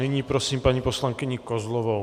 Nyní prosím paní poslankyni Kozlovou.